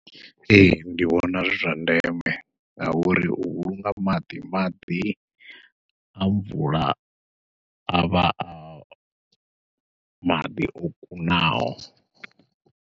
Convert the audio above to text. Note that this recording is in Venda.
Ee, ndi vhona zwi zwa ndeme ngauri u vhulunga maḓi, maḓi a mvula a vha a maḓi o kunaho.